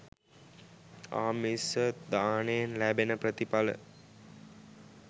ආමිස දානයෙන් ලැබෙන ප්‍රථිඵල